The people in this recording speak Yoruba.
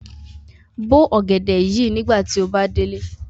Bo ogẹdẹ yii nigbati o ba de ile!